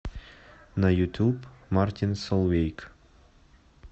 на ютуб мартин солвейг